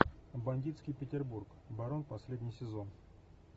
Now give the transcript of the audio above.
бандитский петербург барон последний сезон